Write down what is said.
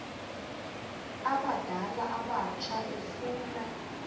abadala abatsha efuna